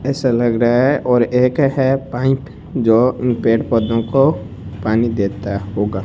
ऐसा लग रहा है और एक है पाइप जो इन पेड़ पौधों को पानी देता होगा।